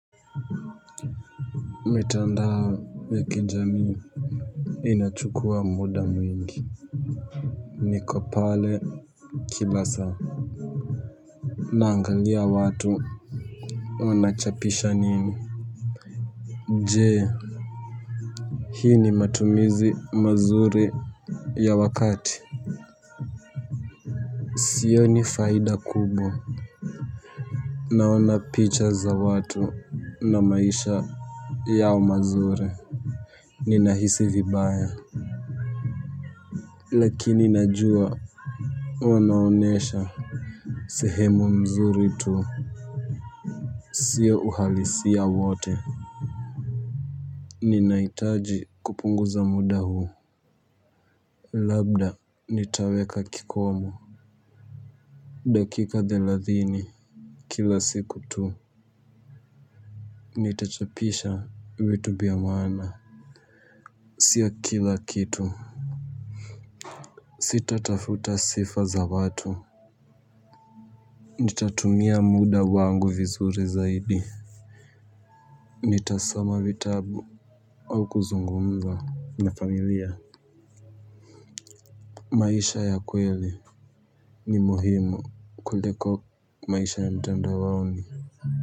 Mitandao ya kijamii inachukua muda mwingi. Niko pale Kimasaa. Naangalia watu. Wanachapisha nini. Je, hii ni matumizi mazuri ya wakati? Sioni faida kubwa. Naona picha za watu na maisha yao mazuri. Ninahisi vibaya. Lakini najua wanaonyesha sehemu mzuri tu. Sio uhalisia wote. Ninahitaji kupunguza muda huo. Labda nitaweka kikomo. Dakika thelathini kila siku tu. Nitachapisha vitu vya maana. Sio kila kitu. Sitatafuta sifa za watu. Nitatumia muda wangu vizuri zaidi. Nitasoma vitabu au kuzungumza na familia. Maisha ya kweli ni muhimu kuliko maisha ya mtandaoni.